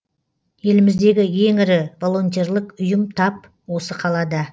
еліміздегі ең ірі волентерлік ұйым тап осы қалада